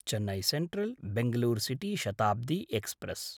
Chennai सेन्ट्रल्–बेङ्गलूरु city Shatabdi express